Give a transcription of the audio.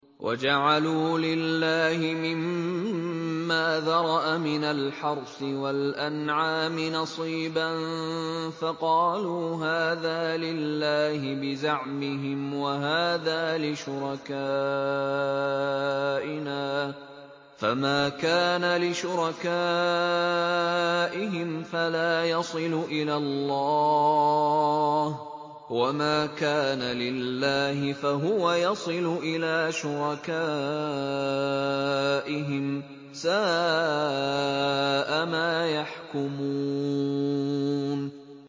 وَجَعَلُوا لِلَّهِ مِمَّا ذَرَأَ مِنَ الْحَرْثِ وَالْأَنْعَامِ نَصِيبًا فَقَالُوا هَٰذَا لِلَّهِ بِزَعْمِهِمْ وَهَٰذَا لِشُرَكَائِنَا ۖ فَمَا كَانَ لِشُرَكَائِهِمْ فَلَا يَصِلُ إِلَى اللَّهِ ۖ وَمَا كَانَ لِلَّهِ فَهُوَ يَصِلُ إِلَىٰ شُرَكَائِهِمْ ۗ سَاءَ مَا يَحْكُمُونَ